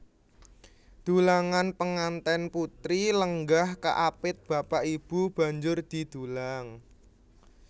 Dulangan Pengantèn putri lenggah kaapit bapak ibu banjur didulang